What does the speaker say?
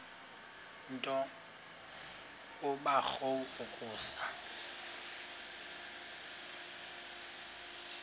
nto kubarrow yokusa